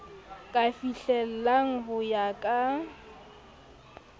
ka fihlellang ho ka ya